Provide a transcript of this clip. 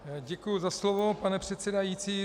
Děkuju za slovo, pane předsedající.